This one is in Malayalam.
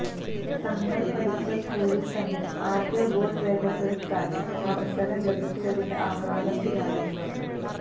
തങ്ങള് പഠിച്ച സ്കൂളില് തന്നെ ആദ്യ വോട്ട് രേഖപ്പെടുത്താന് അവസരം ലഭിച്ചതിന്റെ ആഹ്ലാദത്തിലാണ് ഇവര്